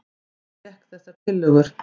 Ég fékk þessar tillögur.